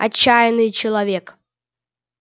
отчаянный человек